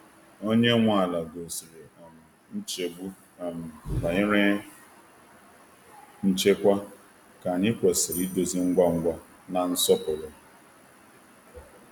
Onye nwe ala gosiri um nchegbu um banyere nchekwa, nke anyị kwesịrị idozi ngwa ngwa na nsọpụrụ.